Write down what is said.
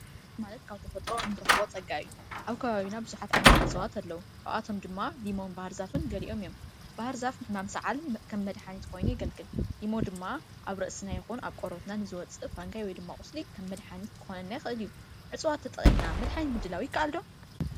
እፅዋት ሃፍቲ ተፈጥሮ ኮይኑ ኣብ ከባቢና ይርከብ ከም ቀላሚጠስ፣ ጋባ፣ ዓየን ዝኣመሳሰሉ ብሰፊሑ ከዓ ንመድሓኒት የገልግሉ።